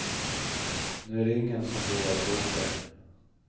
Nu är det ingen som vågar bråka.